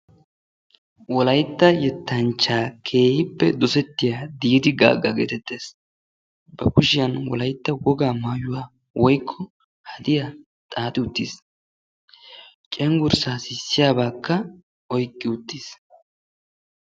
wolaytta yetanchcha keehippe dosettiya diidi gaaga geetettes. a kushiyan wolaytta wogaa maayuwa woykko hadiya xaaxi uttiis.